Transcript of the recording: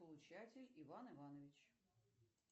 получатель иван иванович